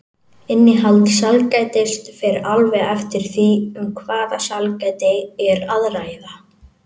Innihald sælgætis fer alveg eftir því um hvaða sælgæti er að ræða.